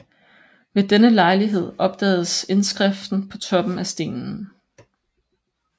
Ved denne lejlighed opdagedes indskriften på toppen af stenen